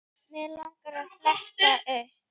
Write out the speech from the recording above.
Mig langar að fletta upp.